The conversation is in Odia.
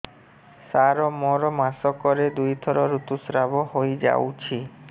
ସାର ମୋର ମାସକରେ ଦୁଇଥର ଋତୁସ୍ରାବ ହୋଇଯାଉଛି